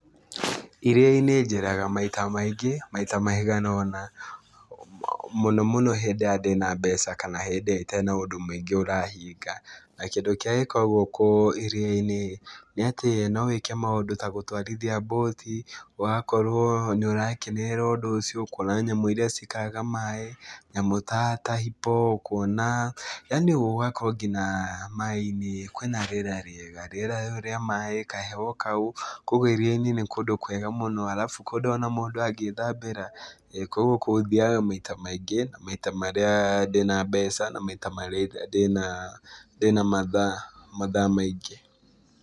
Iria-inĩ njeraga maita maingĩ, maita maiga ũna. Mũno mũno hĩndĩ ĩrĩa ndĩna mbeca, kana hĩndĩ ĩrĩa itarĩ na ũndũ mũingĩ ũrahinga. Na kĩndũ kĩrĩa gĩkoragwo kũu iria-inĩ, nĩ atĩ no wĩke maũndũ ta gũtwarithia mbũti, ũgakorwo nĩ ũrakenerera ũndũ ũcio kuona nyamũ irĩa ciikaraga maĩ, nyamũ ta ta hippo, kuona. Yaani ũgakorwo nginya maĩ-inĩ kwĩna rĩera rĩega, rĩera rĩu rĩa maĩ, kaheho kau, kũguo iria-inĩ nĩ kũndũ kwega mũno. Arabu kũndũ ona mũndũ angĩthambĩra. Kũguo kũu, thiaga maita maingĩ, maita marĩa ndĩna mbeca, na maita marĩa ndĩna ndĩna mathaa mathaa maingĩ.